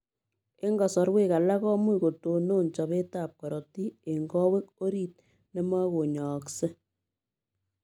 Eng kasarwek alaak komuuch kotonon chopeet ap korotik eng kowek oriit nemakonyaaksei.